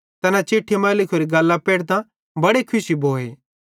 तैना चिट्ठी मां लिखोरी गल्लां पेढ़तां बड़े खुशी भोए